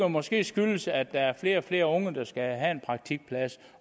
måske skyldes at der er flere og flere unge der skal have en praktikplads